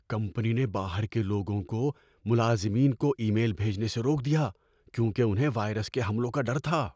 Company نے باہر کے لوگوں کو ملازمین کو ای میل بھیجنے سے روک دیا کیونکہ انہیں وائرس کے حملوں کا ڈر تھا۔